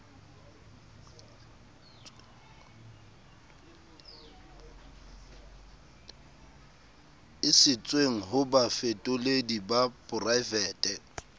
isitsweng ho bafetoledi ba poraefete